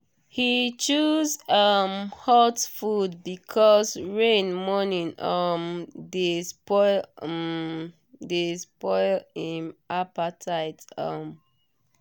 he choose um hot food because rain morning um dey spoil um dey spoil him appetite. um